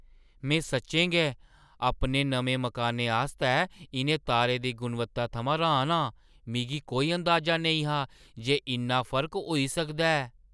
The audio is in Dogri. में सच्चें गै अपने नमें मकानै आस्तै इʼनें तारें दी गुणवत्ता थमां र्‌हान आं। मिगी कोई अंदाजा नेईं हा जे इन्ना फर्क होई सकदा ऐ!